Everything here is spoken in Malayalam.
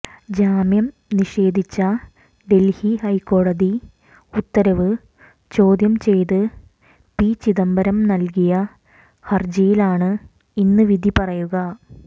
ജാമ്യം നിഷേധിച്ച ഡല്ഹി ഹൈക്കോടതി ഉത്തരവ് ചോദ്യം ചെയ്ത് പി ചിദംബരം നല്കിയ ഹര്ജിയിലാണ് ഇന്ന് വിധി പറയുക